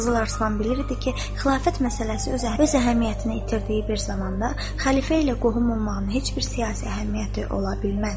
Qızıl Arslan bilirdi ki, xilafət məsələsi öz əhəmiyyətini itirdiyi bir zamanda xəlifə ilə qohum olmağın heç bir siyasi əhəmiyyəti ola bilməz.